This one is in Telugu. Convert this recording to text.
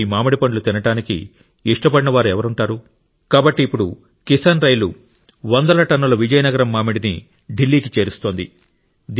ఇప్పుడు ఈ మామిడి పండ్లు తినడానికి ఇష్టపడని వారు ఎవరుంటారు కాబట్టి ఇప్పుడు కిసాన్ రైలు వందల టన్నుల విజయనగరం మామిడిని ఢిల్లీ కి చేరుస్తోంది